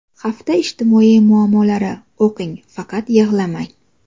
Hafta ijtimoiy muammolari: O‘qing, faqat yig‘lamang.